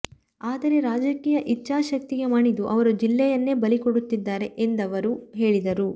ಆದರೆ ರಾಜಕೀಯ ಇಚ್ಛಾಶಕ್ತಿಗೆ ಮಣಿದು ಅವರು ಜಿಲ್ಲೆಯನ್ನೇ ಬಲಿಕೊಡುತ್ತಿದ್ದಾರೆ ಎಂದವರು ಹೇಳಿದರು